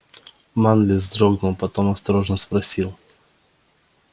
манлис вздрогнул потом осторожно спросил